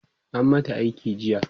an mata aiki jiya